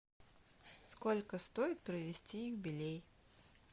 сколько стоит провести юбилей